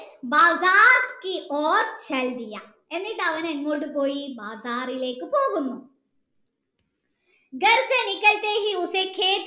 എന്നിട്ട് അവൻ എങ്ങോട് പോയി ബാഗറിലേക്കു പോകുന്ന